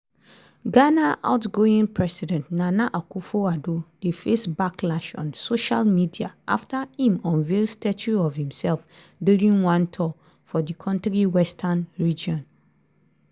ghana outgoing president nana akufo-addo dey face backlash on social media afta im unveil statue of imsef during one tour for di kontri western region.